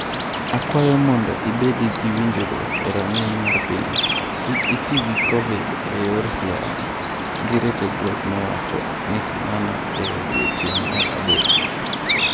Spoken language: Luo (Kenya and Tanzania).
"Akwayo mondo ibed gi winjruok e rang'iny mar piny, kik iti gi Covid e yor siasa", ngire Tedros nowacho ni kamano e odiechieng’ mar adek.